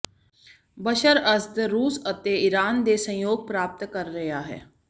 ਬਸ਼ਰ Assad ਰੂਸ ਅਤੇ Iran ਦੇ ਸਹਿਯੋਗ ਪ੍ਰਾਪਤ ਕਰ ਰਿਹਾ ਹੈ